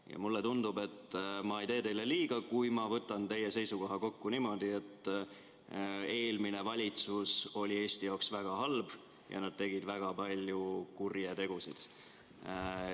Ja mulle tundub, et ma ei tee teile liiga, kui võtan teie seisukohad kokku niimoodi, et eelmine valitsus oli Eesti jaoks väga halb ja nad tegid väga palju kurje tegusid.